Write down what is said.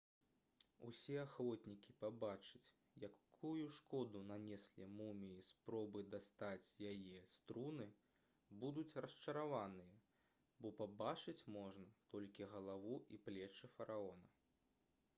усе ахвотнікі пабачыць якую шкоду нанеслі муміі спробы дастаць яе з труны будуць расчараваныя бо пабачыць можна толькі галаву і плечы фараона